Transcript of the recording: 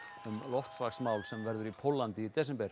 um loftslagsmál sem verður í Póllandi í desember